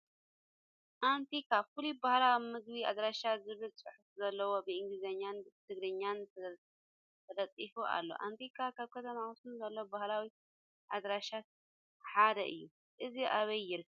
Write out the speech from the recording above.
ኣንቲካ ፍሉይ ባህላዊ ምግቢ ኣዳራሽ ዝብል ፅሑፍ ዘለዎ ብኢንግሊዝን ትግርኛን ተለጢፉ ኣሎ ኣንቲካ ኣብ ከተማ ኣክሱም ዘሎ ባህላዊ ኣዳራሻት ሓደ እዩ። እዚ ኣበይ ይርከብ ?